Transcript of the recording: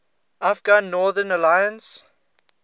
afghan northern alliance